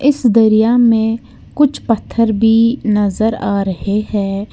इस दरिया में कुछ पत्थर भी नजर आ रहे हैं।